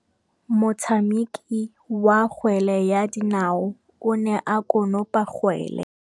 Motshameki wa kgwele ya dinaô o ne a konopa kgwele.